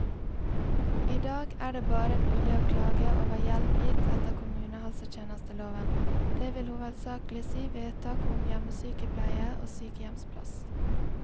I dag er det bare mulig å klage over hjelp gitt etter kommunehelsetjenesteloven, det vil hovedsakelig si vedtak om hjemmesykepleie og sykehjemsplass.